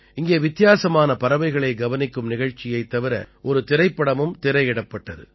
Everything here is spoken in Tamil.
இங்கே வித்தியாசமான பறவைகளை கவனிக்கும் நிகழ்ச்சியைத் தவிர ஒரு திரைப்படமும் திரையிடப்பட்டது